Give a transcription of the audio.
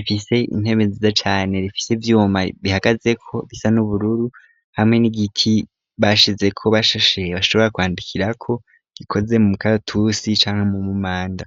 ifise intebe nziza cane rifise ivyuma bihagaze ko bisa n'ubururu hamwe n'igiti bashize ko bashashe bashobora kwandikirako gikoze mu karatusi cangwa mu mumanda.